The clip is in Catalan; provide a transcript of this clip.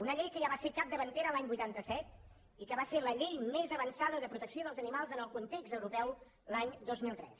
una llei que ja va ser capdavantera l’any vuitanta set i que va ser la llei més avançada de protecció dels animals en el context europeu l’any dos mil tres